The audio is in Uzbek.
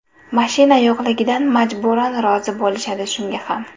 Mashina yo‘qligidan majburan rozi bo‘lishadi shunga ham.